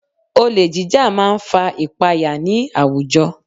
Olè jíjà máa ń fa ìpaya ní àwùjọ